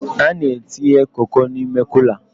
A na-entinye Koko n'ime Kula